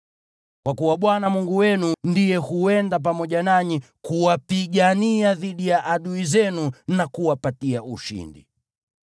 Kwa kuwa Bwana Mungu wenu ndiye huenda pamoja nanyi kuwapigania dhidi ya adui zenu na kuwapatia ushindi.”